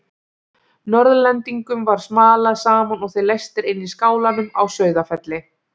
Norðlendingum var smalað saman og þeir læstir inn í skálanum á Sauðafelli.